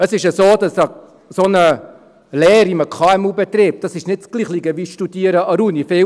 Es ist ja so, dass so eine Lehre in einem KMU-Betrieb nicht dasselbe ist wie Studieren an der Uni.